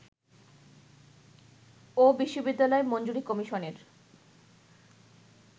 ও বিশ্ববিদ্যালয় মঞ্জুরি কমিশনের